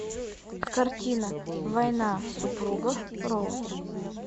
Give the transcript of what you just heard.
картина война супругов роуз